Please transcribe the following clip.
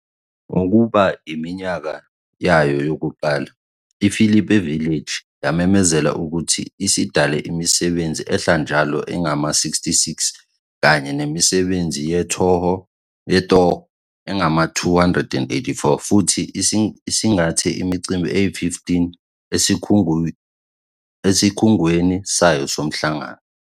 Ngokugubha iminyaka yayo yokuqala, iPhilippi Village yamemezela ukuthi isidale imisebenzi ehlala njalo engama-66 kanye nemisebenzi yetoho engama-284 futhi isingathe imicimbi eyi-15 esikhungweni sayo somhlangano.